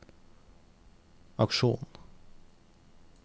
aksjonen